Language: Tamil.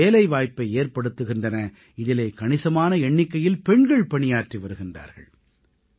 இவை வேலைவாய்ப்பை ஏற்படுத்துகின்றன இதிலே கணிசமான எண்ணிக்கையில் பெண்கள் பணியாற்றி வருகின்றார்கள்